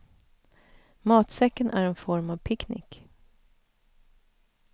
Matsäcken är en form av picknick.